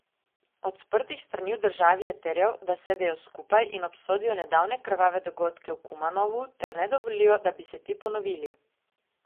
Od sprtih strani v državi je terjal, da sedejo skupaj in obsodijo nedavne krvave dogodke v Kumanovu ter ne dovolijo, da bi se ti ponovili.